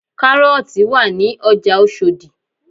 Kárọ́ọ̀tì wà ní ọjà Oṣòdì